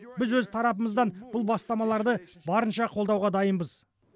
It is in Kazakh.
біз өз тарапымыздан бұл бастамаларды барынша қолдауға дайынбыз